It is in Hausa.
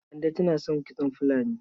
Kande tana son kitson fulani.